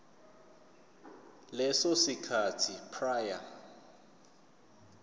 leso sikhathi prior